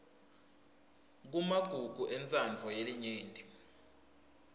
kumagugu entsandvo yelinyenti